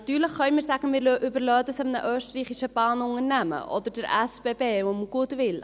Natürlich können wir sagen, wir überlassen dies einem österreichischen Bahnunternehmen oder den SBB und dem Goodwill.